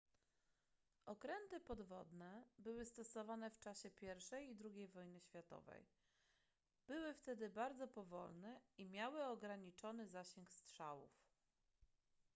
okręty podwodne były stosowane w czasie i i ii wojny światowej były wtedy bardzo powolne i miały ograniczony zasięg strzałów